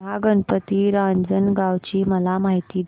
महागणपती रांजणगाव ची मला माहिती दे